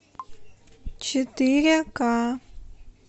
четыре ка